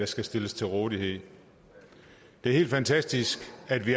skal stilles til rådighed det er helt fantastisk at vi